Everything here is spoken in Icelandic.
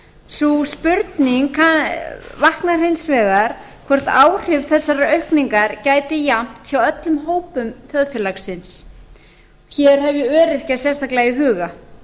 sú spurning vaknar hins vegar hvort áhrif þessarar aukningar gæti jafnt hjá öllum hópum þjóðfélagsins hér hef ég öryrkja sérstaklega í huga